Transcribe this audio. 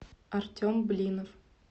артем блинов